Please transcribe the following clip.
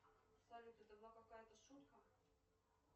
салют это была какая то шутка